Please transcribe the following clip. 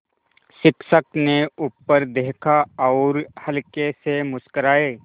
शिक्षक ने ऊपर देखा और हल्के से मुस्कराये